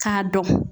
K'a dɔn